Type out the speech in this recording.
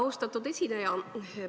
Austatud esineja!